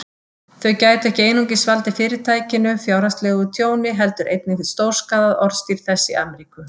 Þau gætu ekki einungis valdið Fyrirtækinu fjárhagslegu tjóni, heldur einnig stórskaðað orðstír þess í Ameríku.